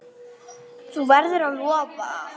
Þú verður að lofa!